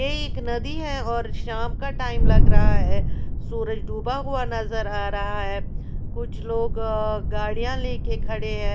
यह एक नदी है और शाम का टाईम लग रहा है सूरज डूबा हुआ नज़र आ रहा है कुछ लोग अ गाड़ी लेके खड़े हैं।